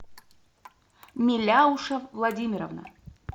миляуша владимировна